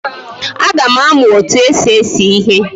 Aga m amu otu esi ese ihe